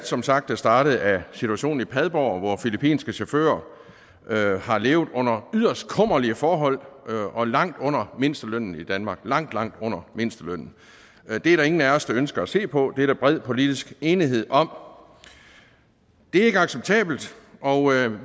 som sagt er startet af situationen i padborg hvor filippinske chauffører har levet under yderst kummerlige forhold og langt under mindstelønnen i danmark langt langt under mindstelønnen det er der ingen af os der ønsker at se på det er der bred politisk enighed om det er ikke acceptabelt og